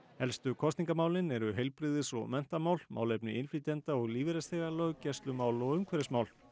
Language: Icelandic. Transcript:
helstu kosningamálin eru heilbrigðis og menntamál málefni innflytjenda og lífeyrisþega löggæslumál og umhverfismál